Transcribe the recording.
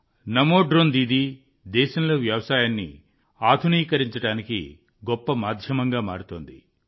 నమో drone Didi దేశంలో వ్యవసాయాన్ని ఆధునీకరించడానికి గొప్ప మాధ్యమంగా మారుతోంది